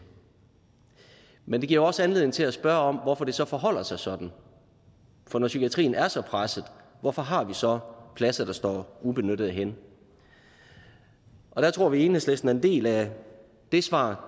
men det giver jo også anledning til at spørge om hvorfor det så forholder sig sådan for når psykiatrien er så presset hvorfor har vi så pladser der står ubenyttede hen der tror vi i enhedslisten at en del af det svar